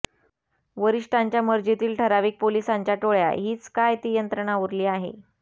वरिष्ठांच्या मर्जीतील ठराविक पोलिसांच्या टोळ्या हीच काय ती यंत्रणा उरली आहे